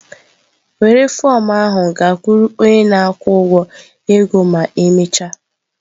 Were fọm ahụ gakwuru onye na-akwụ ụgwọ ego ma emechaa!